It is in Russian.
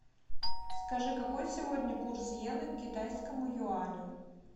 скажи какой сегодня курс йены к китайскому юаню